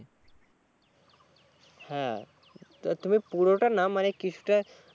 হ্যাঁ তো তুমি পুরোটা না মানে কিছুটা